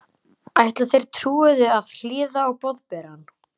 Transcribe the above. Ætla þeir trúuðu að hlýða á Boðberann?